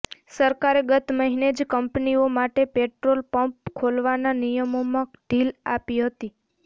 સરકારે ગત મહિને જ કંપનીઓ માટે પેટ્રોલ પંપ ખોલવાનાં નિયમોમાં ઢીલ આપી હતી